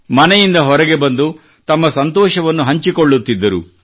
ಮನೆಯಿಂದ ಹೊರಗೆ ಬಂದು ತಮ್ಮ ಸಂತೋಷವನ್ನು ಹಂಚಿಕೊಳ್ಳುತ್ತಿದ್ದರು